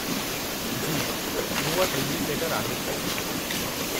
जी मूं वटि release letter आहे।